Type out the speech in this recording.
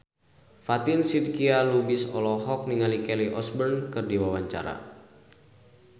Fatin Shidqia Lubis olohok ningali Kelly Osbourne keur diwawancara